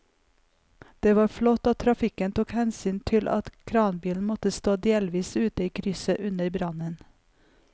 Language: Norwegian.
Det var flott at trafikken tok hensyn til at kranbilen måtte stå delvis ute i krysset under brannen.